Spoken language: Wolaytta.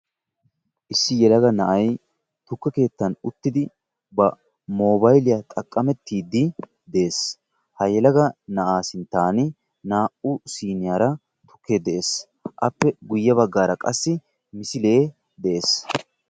issi yelaga na'ay tukke keettan uttidi ba moobayiliya xaqqamettiiddi des. ha yelaga na'aa sinttan naa"u siiniyara tukkee de'es. appe guyye baggaara qassi misilee de'es.